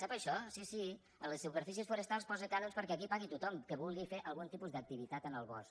sap això sí sí a les superfícies forestals posa cànons perquè aquí pagui tothom que vulgui fer algun tipus d’activitat en el bosc